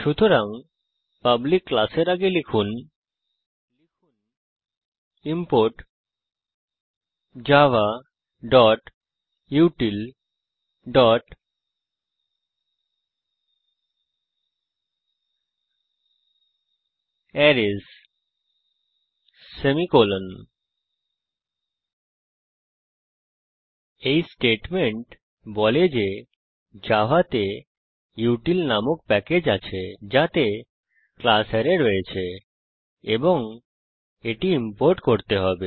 সুতরাং পাবলিক ক্লাসের আগে লিখুন ইমপোর্ট javautilঅ্যারেস সেমিকোলন এই স্টেটমেন্ট বলে যে জাভাতে উটিল নামক প্যাকেজ আছে যাতে ক্লাস অ্যারে রয়েছে এবং এটি ইম্পোর্ট করতে হবে